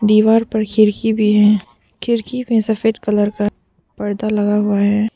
दीवार पर खिड़की भी है खिड़की में सफेद कलर का पर्दा लगा हुआ है।